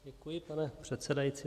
Děkuji, pane předsedající.